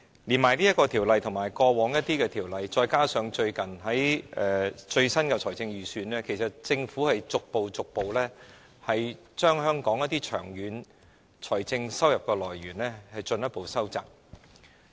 透過《條例草案》和過往一些法例，加上最新的財政預算案，政府正逐步把香港一些長遠的財政收入來源進一步收窄。